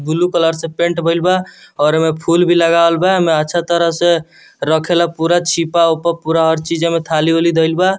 Blue colour से paint भेल बा और एमे फूल भी लगावल बा एमे अच्छा तरह से रखेला पूरा छिपा-उपा पूरा हर चीज मे थाली-उली धइल बा।